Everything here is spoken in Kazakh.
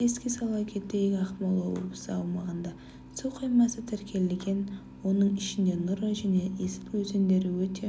еске сала кетейік ақмола облысы аумағында су қоймасы тіркелеген оның ішінде нұра және есіл өзендері өте